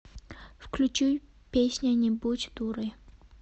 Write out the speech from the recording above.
включи песня не будь дурой